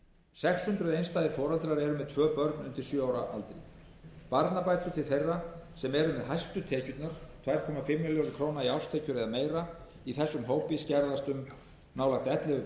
hundruð einstæðir foreldrar eru með tvö börn undir sjö ára aldri barnabætur til þeirra sem eru með hæstu tekjurnar tvö og hálfa milljón króna í árstekjur eða meira í þessum hópi skerðast um nálægt ellefu